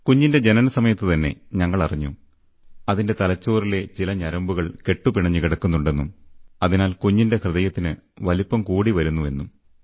കുഞ്ഞിന്റെ ജനനസമയത്തുതന്നെ ഞങ്ങളറിഞ്ഞു അതിന്റെ തലച്ചോറിലെ ചില ഞരമ്പുകൾ കെട്ടുപിണഞ്ഞു കിടപ്പുണ്ടെന്നും അതിനാൽ കുഞ്ഞിന്റെ ഹൃദയത്തിന് വലിപ്പം കൂടിവരുന്നു എന്നും